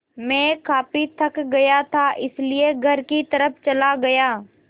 मैं काफ़ी थक गया था इसलिए घर की तरफ़ चला गया